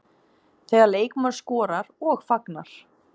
Þegar leikmaður skorar og fagnar.